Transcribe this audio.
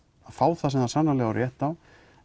fá það sem það á rétt á